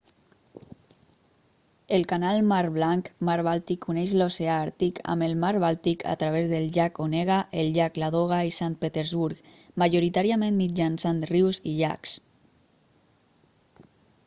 el canal mar blancmar bàltic uneix l'oceà àrtic amb el mar bàltic a través del llac onega el llac ladoga i sant petersburg majoritàriament mitjançant rius i llacs